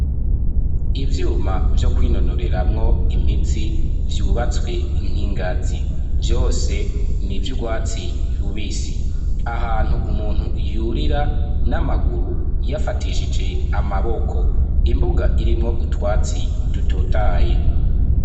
Ivyuma vyo kwinonoreramwo imitsi vyubatswe nk'inkingazi vyose ni by'urwatsi rubisi ahantu umuntu yurira n'amaguru yafatishije amaboko imbuga irimwo utwatsi dutotahaye.